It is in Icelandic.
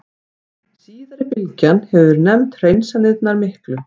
Síðari bylgjan hefur verið nefnd Hreinsanirnar miklu.